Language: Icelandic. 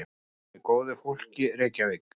Með góðu fólki, Reykjavík.